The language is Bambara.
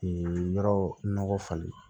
yɔrɔ nɔgɔ falen